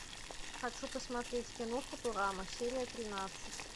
хочу посмотреть кино футурама серия тринадцать